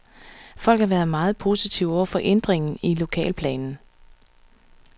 Folk har været meget positive over for ændringen i lokalplanen.